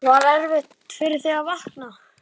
Hugrún: Var erfitt fyrir þig að vakna?